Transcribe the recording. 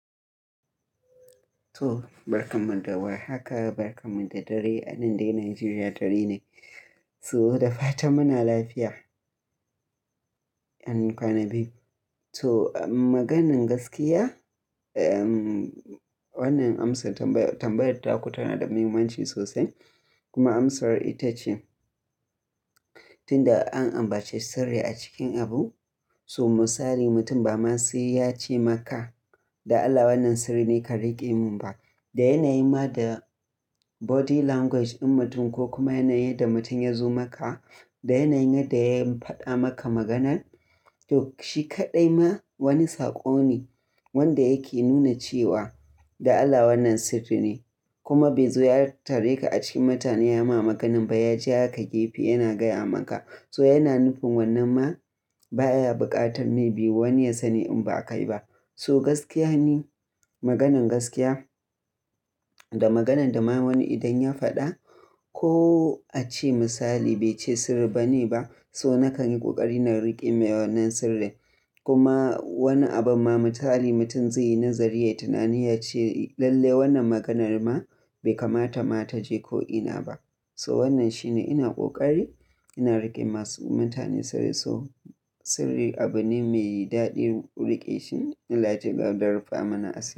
So barka mun da war haka, barka mun da dare, anan dai Nigeria dare ne. So da fatan muna lafiya an kwana biyu. So maganin gaskiya, wannan amsar tambayar ta ku tana da muhimmanci sosai. Kuma amsar ita ce, tunda an ambaci sirri a cikin abu, so misali mutum ba ma sai ya ce maka da Allah wannan sirri ne ka rike mun ba. Da yanayin ma da body language ɗin mutum ko kuma yanayin da mutum ya zo maka, da yanayin da ya faɗa maka maganan, to shi kaɗai ma wani saƙo ne wanda yake nuna cewa da Allah wannan sirri ne. Kuma bai zo ya tare ka a cikin mutane ya ma maganan ba, ya ja ka gefe yana gaya maka. So yana nufin wannan ma ba ya buƙatar me bi wani ya sani in ba kai ba. So gaskiya ne, maganan gaskiya da maganan da ma wani idan ya faɗa ko a ce misali bai ce sirri bane ba, so naka yi ƙoƙari na rike mai wannan sirrin. Kuma wani abun ma misali mutum zai yi nazari ya yi tunani ya ce lalle wannan maganar ma bai kamata ma ta je ko ina ba. So wannan shine ina ƙoƙari ina rike masu mutane sirri. So sirri abu ne mai daɗin riƙe shi allah ya cigaba da rufe mana asiri.